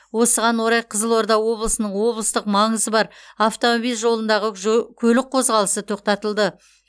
осыған орай қызылорда облысының облыстық маңызы бар автомобиль жолындағы көлік қозғалысы тоқтатылды